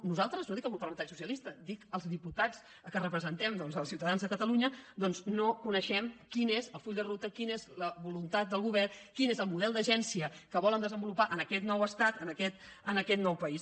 nosaltres no dic el grup parlamentari socialista dic els diputats que representem els ciutadans de catalunya doncs no coneixem quin és el full de ruta quina és la voluntat del govern quin és el model d’agència que volen desenvolupar en aquest nou estat en aquest nou país